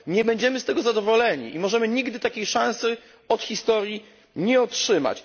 Nie będziemy z tego zadowoleni i możemy nigdy takiej szansy od historii nie otrzymać.